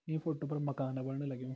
इ फोटो पर मकान बणन लग्यूं ।